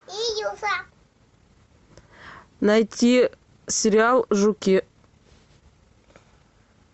найти сериал жуки